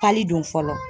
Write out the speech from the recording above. Hali don fɔlɔ